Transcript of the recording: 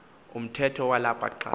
umthetho walapha xa